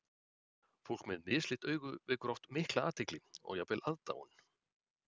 Fólk með mislit augu vekur oft mikla athygli og jafnvel aðdáun.